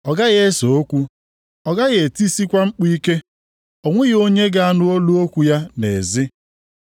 Ọ gaghị ese okwu, ọ gaghị etisikwa mkpu ike. O nweghị onye ga-anụ olu okwu ya nʼezi.